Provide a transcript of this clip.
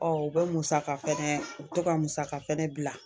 u bɛ musaka fɛnɛ u bɛ to ka musaka fɛnɛ bila